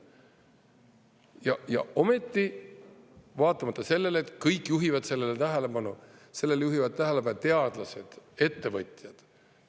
Ja ometi, vaatamata sellele, et kõik juhivad sellele tähelepanu, sellele juhivad tähelepanu teadlased, ettevõtjad.